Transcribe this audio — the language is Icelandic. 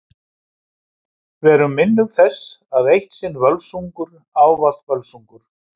Verum minnug þess að Eitt sinn Völsungur ávallt Völsungur.